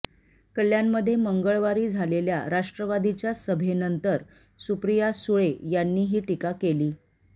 कल्याणमध्ये मंगळवारी झालेल्या राष्ट्रवादीच्या सभेनंतर सुप्रीया सुळे यांनी ही टीका केली